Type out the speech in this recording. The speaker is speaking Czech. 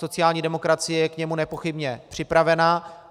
Sociální demokracie je k němu nepochybně připravena.